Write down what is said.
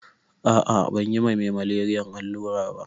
Ah ah banyi ma me maleriyan allura ba